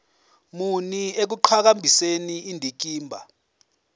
muni ekuqhakambiseni indikimba